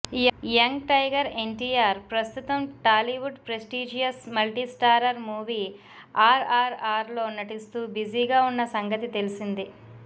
young tiger NTR ప్రస్తుతం Tollywood prestigious multistarrer movie ఆర్ఆర్ఆర్లో నటిస్తూ బిజీగా ఉన్న సంగతి తెలిసిందే